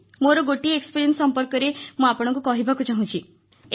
ମୋର ଗୋଟିଏ ଅନଭୂତି ସମ୍ପର୍କରେ ମୁଁ ଆପଣଙ୍କୁ କହିବାକୁ ଚାହୁଁଛି